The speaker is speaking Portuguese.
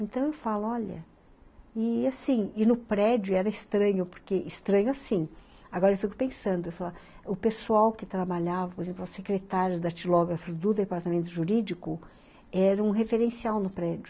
Então eu falo, olha, e assim, e no prédio era estranho, porque estranho assim, agora eu fico pensando, o pessoal que trabalhava, por exemplo, a secretária datilógrafo do departamento jurídico, era um referencial no prédio.